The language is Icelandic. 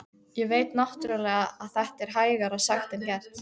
Ég veit náttúrlega að þetta er hægara sagt en gert.